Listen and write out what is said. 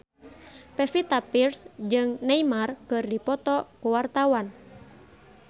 Pevita Pearce jeung Neymar keur dipoto ku wartawan